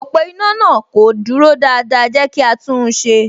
Ọ̀pọ̀ iná náà kò dúró dáadáa, ẹ jẹ́ kí á tún un ṣe